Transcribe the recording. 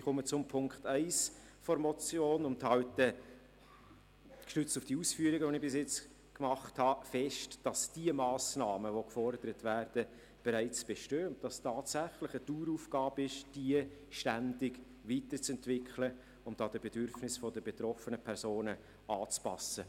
Ich komme zu Punkt 1 der Motion und halte gestützt auf meine bisherigen Ausführungen fest, dass die Massnahmen, die gefordert werden, bereits bestehen und dass es tatsächlich eine Daueraufgabe ist, diese ständig weiterzuentwickeln und den Bedürfnissen der betroffenen Personen anzupassen.